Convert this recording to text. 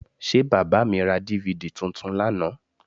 Ṣé bàbà mi ra DVD tuntun lánàá?